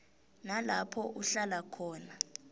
nalapho uhlala khona